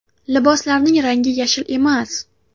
Liboslarning rangi yashil emas.